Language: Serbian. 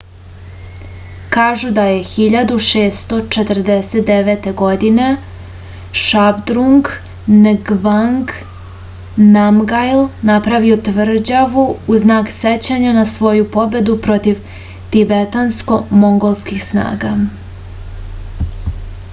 kažu da je 1649. godine šabdrung ngavang namgjal napravio tvrđavu u znak sećanja na svoju pobedu protiv tibetansko-mongolskih snaga